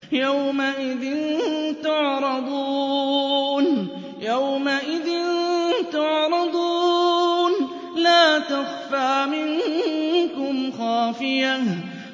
يَوْمَئِذٍ تُعْرَضُونَ لَا تَخْفَىٰ مِنكُمْ خَافِيَةٌ